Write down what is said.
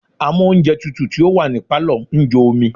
Amóùnjẹtutù tí ó wà ní Pálọ̀ ń jó omi.